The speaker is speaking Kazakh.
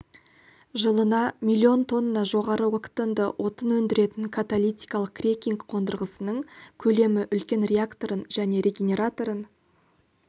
жылына миллион тонна жоғары октанды отын өндіретін каталитикалық крекинг қондырғысының көлемі үлкен реакторын және регенераторын